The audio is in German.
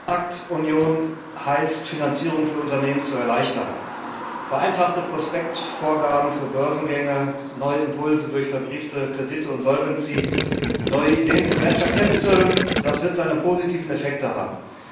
Kapitalmarktunion heißt, Finanzierung für Unternehmen zu erleichtern. Vereinfachte Prospektvorgaben für Börsengänge, neue Impulse durch verbriefte Kredite und neue Ideen zum das wird seine positiven Effekte haben.